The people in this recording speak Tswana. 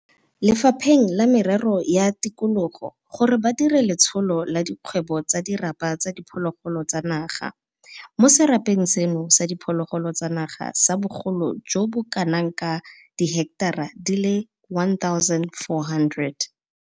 Lefapheng la Merero ya Tikologo gore ba dire letsholo la dikgwebo tsa dirapa tsa diphologolo tsa naga mo serapeng seno sa diphologolo tsa naga sa bogolo jo bo kanaka diheketara di le 1 400